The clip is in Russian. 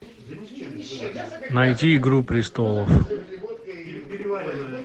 найти игру престолов